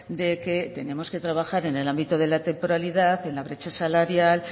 de que tenemos que trabajar en el ámbito de la temporalidad y en la brecha salarial